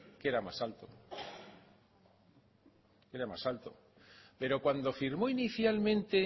que era más alto que era más alto pero cuando firmó inicialmente